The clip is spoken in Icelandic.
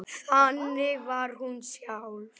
Þannig var hún sjálf.